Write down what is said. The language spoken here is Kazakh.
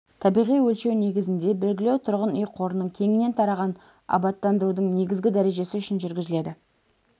табиғи өлшеу негізінде белгілеу тұрғын үй қорының кеңінен тараған абаттандырудың негізгі дәрежесі үшін жүргізіледі